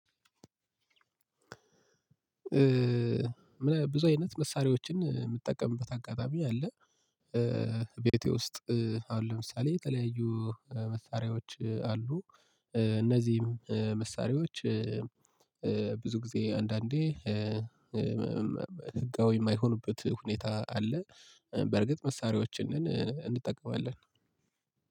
ብዙ አይነት መሳሪያዎችን የምጠቀምበት አጋጣሚ አለ። ቤቴ ውስጥ አሁን ለምሳሌ የተለያዩ መሳሪያዎች አሉ። እነዚህም መሳሪያዎች ብዙ ጊዜ አንዳንዴ ህጋዊ የማይሆንበት ሁኔታ አለ። በርግጥ መሳሪያዎችን እንጠቀማለን።